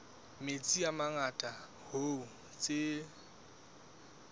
metsi a mangata hoo tse